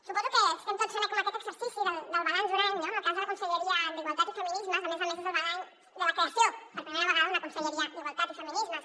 suposo que estem tots fent aquest exercici del balanç d’un any no en el cas de la conselleria d’igualtat i feminismes a més a més és el balanç de la creació per primera vegada d’una conselleria d’igualtat i feminismes